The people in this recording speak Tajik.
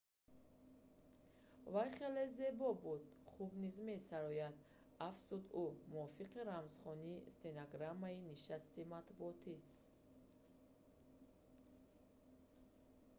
вай хеле зебо буда хуб низ месарояд афзуд ӯ мувофиқи рамзхонии стенограммаи нишасти матбуотӣ